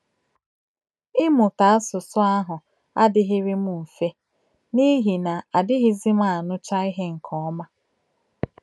Ịmụta asụsụ ahụ adịghịrị m mfe n’ihi na adịghịzi m anụcha ihe nke ọma.